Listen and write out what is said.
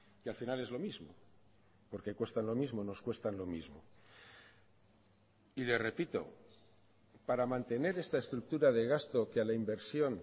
y al final es lo mismo porque cuestan lo mismo nos cuestan lo mismo y le repito para mantener esta estructura de gasto que a la inversión